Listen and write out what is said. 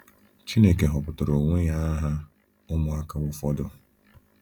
Chineke họpụtara onwe ya aha ụmụaka ụfọdụ.